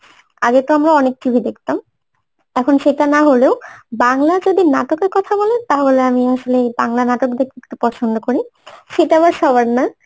আগে তো আমরা অনেক TV দেখতাম এখন সেটা না হলেও বাংলা যদি নাটকের কথা বলেন তাহলে আমি আসলে এই বাংলা নাটক দেখে খুব পছন্দ করি সেটা আবার সবার না